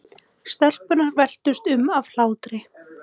Stelpurnar veltust um af hlátri.